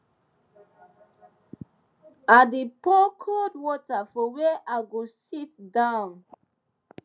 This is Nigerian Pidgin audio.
i dey pour cold water for where i go sit down